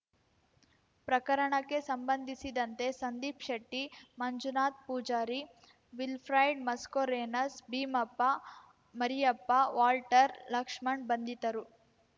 ಪ್ರಕರಣಕ್ಕೆ ಸಂಬಂಧಿಸಿದಂತೆ Sandeep Shetty Manjunath Poojary Wilfred Mascarenhas Bheemappa Mariyappa Walter Lakshan ಬಂಧಿತರು